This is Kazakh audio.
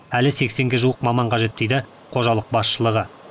әлі сексенге жуық маман қажет дейді қожалық басшылығы